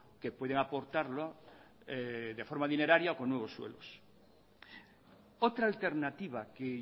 que pueden aportarlo de forma dineraria o con nuevos suelos otra alternativa que